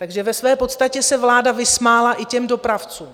Takže ve své podstatě se vláda vysmála i těm dopravcům.